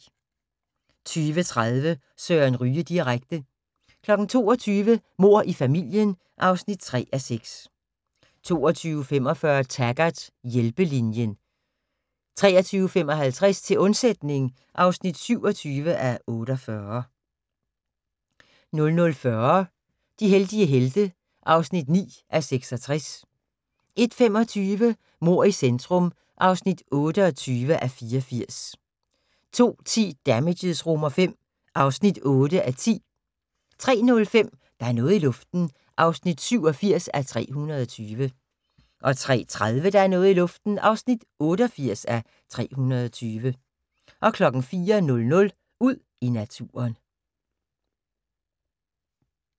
20:30: Søren Ryge direkte 22:00: Mord i familien (3:6) 22:45: Taggart: Hjælpelinjen 23:55: Til undsætning (27:48) 00:40: De heldige helte (9:66) 01:25: Mord i centrum (28:84) 02:10: Damages V (8:10) 03:05: Der er noget i luften (87:320) 03:30: Der er noget i luften (88:320) 04:00: Ud i naturen